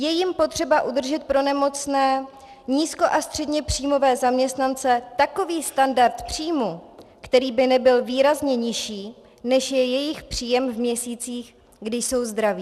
Je jím potřeba udržet pro nemocné nízko- až středněpříjmové zaměstnance takový standard příjmu, který by nebyl výrazně nižší, než je jejich příjem v měsících, kdy jsou zdraví.